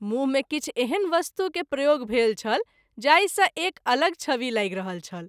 मुँह मे किछु एहन वस्तु के प्रयोग भेल छल जाहि सँ एक अलग छवि लागि रहल छल।